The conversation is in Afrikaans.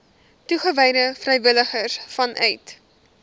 toegewyde vrywilligers vanuit